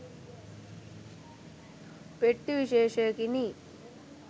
පෙට්ටි විශේෂයකිනි